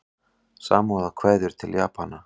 Samúðarkveðjur til Japana